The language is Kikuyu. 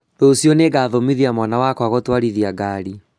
Rũciũ nĩngathomithia mwana wakwa gũtwarithia ngari